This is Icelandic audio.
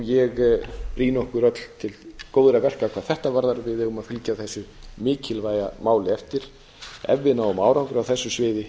ég brýni okkur öll til góðra verka hvað þetta varðar við eigum að fylgja þessu mikilvæga máli eftir ef við náum árangri á þessu sviði